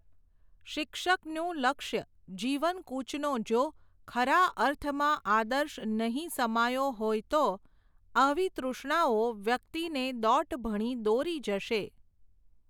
શિક્ષકનું લક્ષ્ય જીવનકૂચ નો જો, ખરા અર્થમાં આદર્શ નહિ સમાયો હોય તો, આવી તૃષ્ણાઓ વ્યક્તિને દોટ ભણી દોરી જશે.